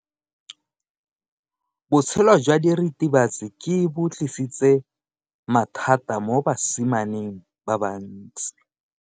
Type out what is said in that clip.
Botshelo jwa diritibatsi ke bo tlisitse mathata mo basimaneng ba bantsi.